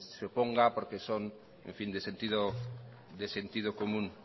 se oponga porque son de sentido común